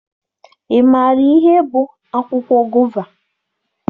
Ị maara ihe bụ akwụkwọ gova?